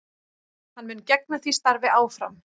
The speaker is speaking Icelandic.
Hann mun gegna því starfi áfram